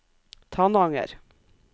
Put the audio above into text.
Tananger